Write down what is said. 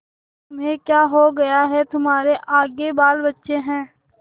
तुम्हें क्या हो गया है तुम्हारे आगे बालबच्चे हैं